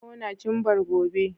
Kona cimbar gobe!